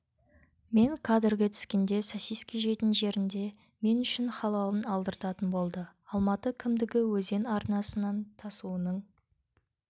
мен кадрге түскенде сосиски жейтін жерінде мен үшін халалын алдыртатын болды алматы кімдігі өзен арнасынан тасуының